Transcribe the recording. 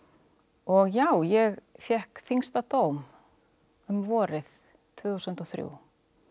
og já ég fékk þyngsta dóm um vorið tvö þúsund og þrjú